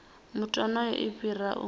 muthu onoyo i fhira u